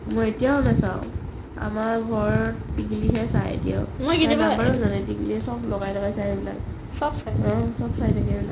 মই এতিয়াও নাচাও আমাৰ ঘৰৰ তিক্ক্লি হে চাই এতিয়াও তাই number ও জানে চব লগাই লগাই চাই সেইবিলাক উম চব চাই থাকে সেই বিলাক